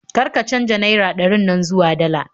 Kar ka canja naira ɗarin nan zuwa dala